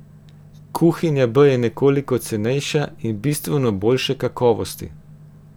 Kuhinja B je nekoliko cenejša in bistveno boljše kakovosti.